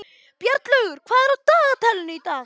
Bjarnlaugur, hvað er á dagatalinu í dag?